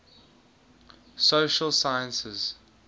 social sciences